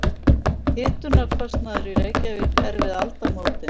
Hitunarkostnaður í Reykjavík er við aldamótin